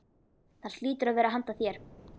Það hlýtur að vera handa þér.